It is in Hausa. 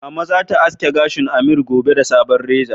Mama zata aske gashin Ameer gobe da sabon reza